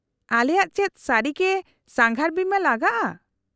-ᱟᱞᱮᱭᱟᱜ ᱪᱮᱫ ᱥᱟᱹᱨᱤᱜᱮ ᱥᱟᱸᱜᱷᱟᱨ ᱵᱤᱢᱟᱹ ᱞᱟᱜᱟᱜᱼᱟ ?